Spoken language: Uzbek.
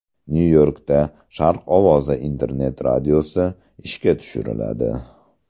Nyu-Yorkda Sharq ovozi internet-radiosi ishga tushiriladi.